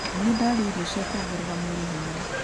Nĩndarĩa irio cia kuongerera mwĩrĩ hinya.